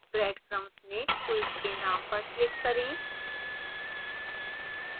breadcrumbs में quiz के name पर click करें